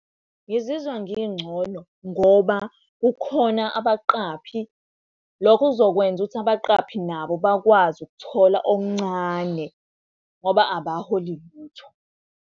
Ngizizwa ngingcono ngoba kukhona abaqaphi. Lokho kuzokwenza ukuthi abaqaphi nabo bakwazi ukuthola okuncane ngoba abaholi lutho.